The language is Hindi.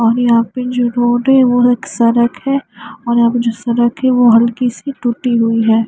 और यहाँ पे जो रोड है वो एक सरक है और यहाँ पे जो सरक है वो हल्की सी टूटी हुई है।